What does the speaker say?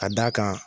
Ka d'a kan